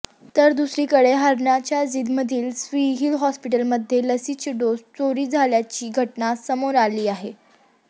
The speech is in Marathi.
तर दुसरीकडे हरयाणाच्या जिंदमधील सिव्हील हॉस्पिटलमध्ये लसीचे डोस चोरी झाल्याची घटना समोर आली आहे